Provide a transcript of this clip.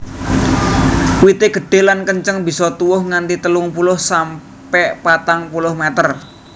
Wité gedhé lan kenceng bisa tuwuh nganti telung puluh sampe patang puluh meter